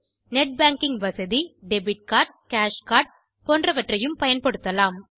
net banking வசதி debit card cash card போன்றவற்றை பயன்படுத்தலாம்